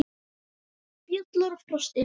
Fjalar og Frosti